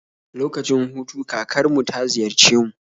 Lokacin hutu kakar mu ta ziyarce mu